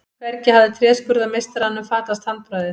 Hvergi hafði tréskurðarmeistaranum fatast handbragðið.